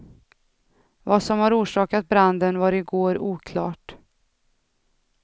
Vad som har orsakat branden var i går oklart.